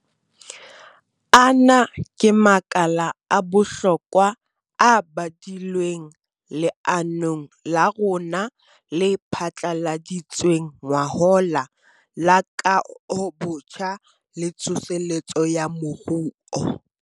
Ana ke makala a bohlokwa a badilweng leanong la rona le phatlaladitsweng ngwahola la Kahobotjha le Tsoseletso ya Moruo.